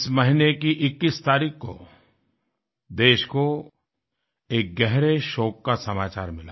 इस महीने की 21 तारीख को देश को एक गहरे शोक का समाचार मिला